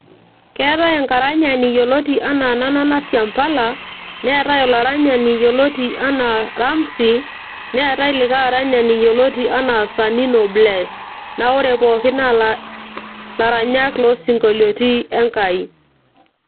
keetay enkaranyani yioloti anaa Nanana siampala, neetay olaranyani yioloti anaa Ramsi neetay likay aranyani yioloti anaa Sanino bless naa ore pookin naa ilaranyak loosinkolioti Enkai.